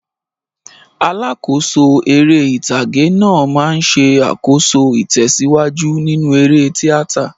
Alákòóso eré ìtàgé náà máa ń ṣe àkóso ìtẹ̀síwájú nínú eré tíátà.